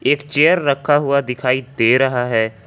एक चेयर रखा हुआ दिखाई दे रहा है।